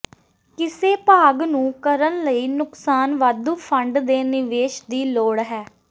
ਕਿਸੇ ਭਾਗ ਨੂੰ ਕਰਨ ਲਈ ਨੁਕਸਾਨ ਵਾਧੂ ਫੰਡ ਦੇ ਨਿਵੇਸ਼ ਦੀ ਲੋੜ ਹੈ